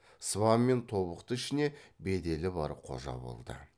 сыбан мен тобықты ішіне беделі бар қожа болды